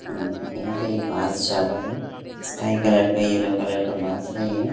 यहां पे एक बॉक्स जा रहा है। स्काई कलर का येलो कलर का बॉक्स है ये--